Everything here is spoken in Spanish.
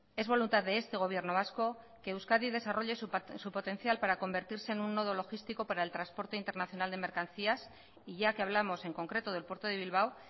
es voluntad de este gobierno vasco que euskadi desarrolle su potencial para convertirse en un nodo logístico para el transporte internacional de mercancías y ya que hablamos en concreto del puerto de bilbao